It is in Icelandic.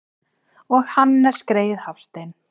Og Hannes greyið Hafstein!